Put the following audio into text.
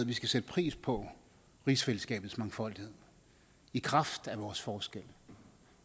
vi skal sætte pris på rigsfællesskabets mangfoldighed i kraft af vores forskel